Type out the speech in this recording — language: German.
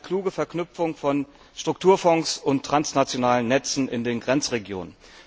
in eine kluge Verknüpfung von Strukturfonds und transnationalen Netzen in den Grenzregionen.